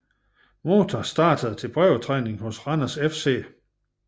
Mota startede til prøvetræning hos Randers FC